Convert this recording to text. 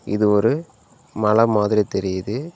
இது ஒரு மல மாதிரி தெரியுது.